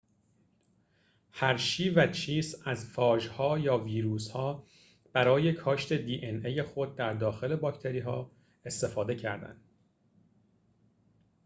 هرشی و چیس از فاژها یا ویروس‌ها برای کاشت دی‌ان‌ای خود در داخل باکتری استفاده کردند